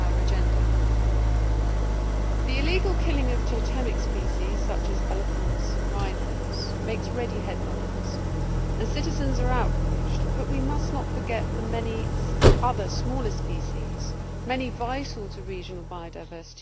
The illegal killing of totemic species such as elephants and rhinos makes ready headlines and citizens are outraged, but we must not forget the many other smaller species many vital to regional biodiversity around the world which are just as important.